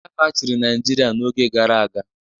Ndị agha chịrị Naịjirịa n'oge gara aga.